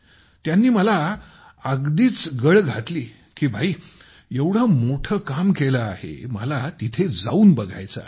त्यांनी मला अगदीच गळ घातली की भाई हे एवढं मोठं काम केलं आहे मला तिथे जाऊन बघायचे आहे